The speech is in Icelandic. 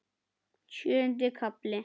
Sjöundi kafli